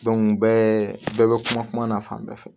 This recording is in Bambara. bɛɛ bɛ kuma na fan bɛɛ fɛ